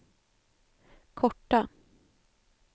korta